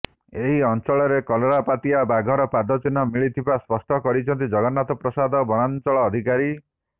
ଏହି ଅଚଂଳରେ କଲରାପତରିଆ ବାଘର ପାଦଚିହ୍ନ ମିଳିଥିବା ସ୍ପଷ୍ଟ କରିଛନ୍ତି ଜଗନ୍ନାଥପ୍ରସାଦ ବନାଚଂଳ ଅଧିକାରୀ